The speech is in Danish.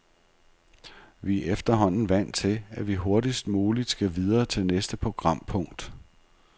Vi er efterhånden vant til, at vi hurtigst muligt skal videre til næste programpunkt.